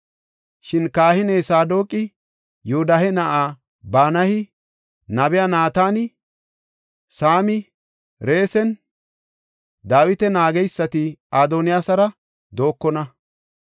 Shin kahiniya Saadoqi, Yoodahe na7ay Banayi, nabiya Naatani, Saami, Resimnne Dawita naageysati Adoniyaasara dookona.